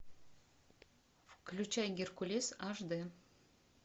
включай геркулес аш дэ